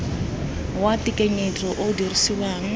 wa tekanyetso o o dirisiwang